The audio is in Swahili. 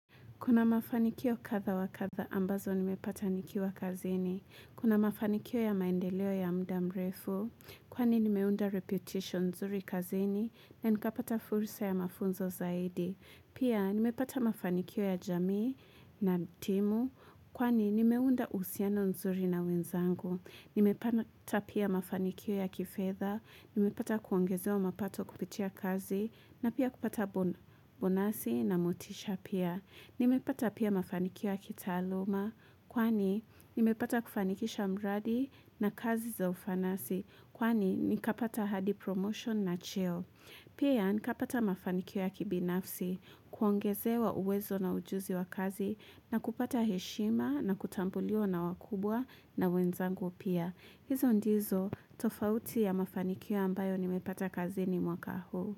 Kuna mafanikio kadha wa kadha ambazo nimepata nikiwa kazini. Kuna mafanikio ya maendeleo ya mda mrefu. Kwani nimeunda reputation nzuri kazini na nikapata fursa ya mafunzo zaidi. Pia nimepata mafanikio ya jamii na timu. Kwani nimeunda uhusiano nzuri na wenzangu. Nimepata pia mafanikio ya kifedha. Nimepata kuongezewa mapato kupitia kazi na pia kupata bona bonasi na motisha pia. Nimepata pia mafanikio ya kitaaluma kwani nimepata kufanikisha mradi na kazi za ufanasi kwani nikapata hadi promotion na cheo. Pia nikapata mafanikio ya kibinafsi kuongezewa uwezo na ujuzi wa kazi na kupata heshima na kutambuliwa na wakubwa na wenzangu pia. Hizo ndizo tofauti ya mafanikio ambayo nimepata kazini mwaka huu.